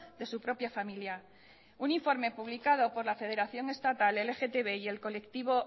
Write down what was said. de su propia familia un informe publicado por la federación estatal el lgtb y el colectivo